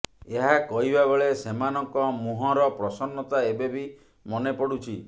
ଏହା କହିବା ବେଳେ ସେମାନଙ୍କ ମୁହଁର ପ୍ରସନ୍ନତା ଏବେ ବି ମନେପଡ଼ୁଛି